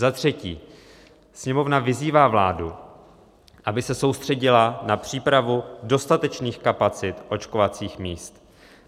"Za třetí Sněmovna vyzývá vládu, aby se soustředila na přípravu dostatečných kapacit očkovacích míst."